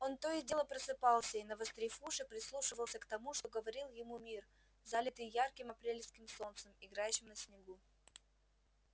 он то и дело просыпался и навострив уши прислушивался к тому что говорил ему мир залитый ярким апрельским солнцем играющим на снегу